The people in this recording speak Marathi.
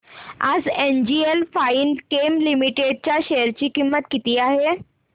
आज एनजीएल फाइनकेम लिमिटेड च्या शेअर ची किंमत किती आहे